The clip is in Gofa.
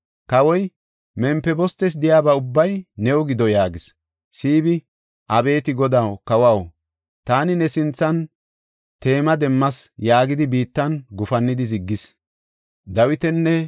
Kawoy, “Mempibostes de7iyaba ubbay new gido” yaagis. Siibi, “Abeeti godaw, kawaw! Taani ne sinthan teemo demmayis” yaagidi biittan gufannida ziggayis.